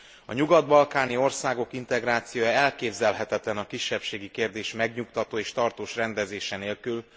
A nyugat balkáni országok integrációja elképzelhetetlen a kisebbségi kérdés megnyugtató és tartós rendezése nélkül.